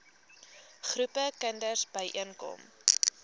groepe kinders byeenkom